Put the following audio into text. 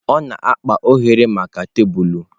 Ọ na-akpa oghere maka tebụl.